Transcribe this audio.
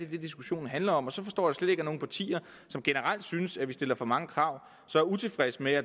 det diskussionen handler om og så forstår jeg slet ikke at nogle partier som generelt synes at vi stiller for mange krav så er utilfredse med at